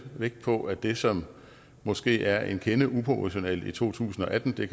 vægt på at det som måske er en kende uproportionalt i to tusind og atten